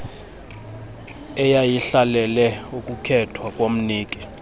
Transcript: eyayihlalele ukukhethwa komniki